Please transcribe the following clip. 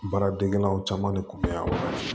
Baara degelaw caman de kun bɛ yan wa